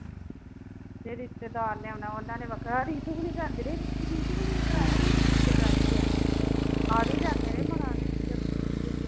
ਕਿਹੇ ਰਿਸ਼ਤੇਦਾਰ ਨੇ ਆਉਣਾ ਉਹਨਾ ਨੇ ਵੱਖਰਾ ਹੁਣੀ ਜਾਂਦੇ ਰਹੇ ਤੇ ਹੁਣੀ ਨੇ ਕਰਾਇਆ ਇਨ੍ਹਾਂ ਦੀ ਰਿਸ਼ਚੇਦਾਰੀ ਆ ਵੀ ਜਾਂਦੇ ਰਹੇ ਬੜਾ ਸਮਝਾਉਦੇ ਸੁਮਝਾਉਦੇ